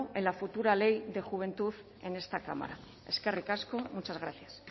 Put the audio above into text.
en la futura ley de juventud en esta cámara eskerrik asko muchas gracias